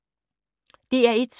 DR1